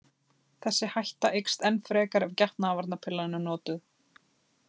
Þessi hætta eykst enn frekar ef getnaðarvarnarpillan er notuð.